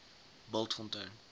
bultfontein